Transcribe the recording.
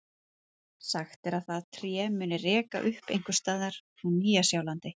Sagt er að það tré muni reka upp einhvers staðar á Sjálandi.